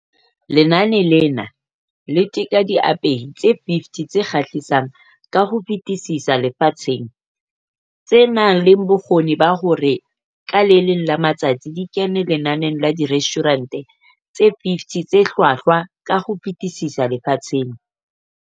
Lenane lena le teka diapehi tse 50 tse kgahlisang ka ho fetisisa lefatsheng, tse nang le bokgoni ba hore ka le leng la matsatsi di kene lenaneng la Direstjhurente tse 50 tse Hlwahlwa ka ho Fetisisa Lefatsheng.